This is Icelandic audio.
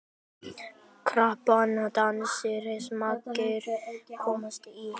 Krappan dans margir komast í.